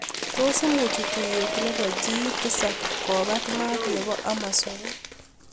Tos imuuch tuiyet nepoo G7 kopaat maat nepoo Amozon?